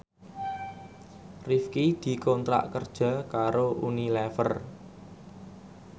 Rifqi dikontrak kerja karo Unilever